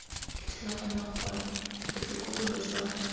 ke tlhaloganya gore botokololo jwa